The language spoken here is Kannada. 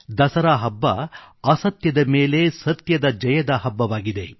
ದಸರಾ ಹಬ್ಬಅಸತ್ಯದ ಮೇಲೆ ಸತ್ಯದ ಜಯದ ಹಬ್ಬವಾಗಿದೆ